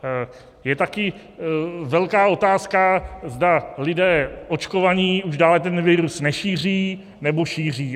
Je také velká otázka, zda lidé očkovaní už dále ten virus nešíří, nebo šíří.